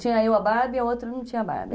Tinha eu a Barbie e a outra não tinha a Barbie.